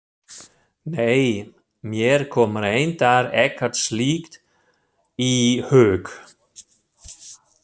Nei, mér kom reyndar ekkert slíkt í hug.